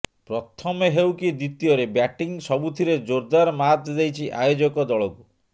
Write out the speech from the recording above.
ପ୍ରଥମେ ହେଉ କି ଦ୍ୱିତୀୟରେ ବ୍ୟାଟିଂ ସବୁଥିରେ ଜୋରଦାର ମାତ୍ ଦେଇଛି ଆୟୋଜକ ଦଳକୁ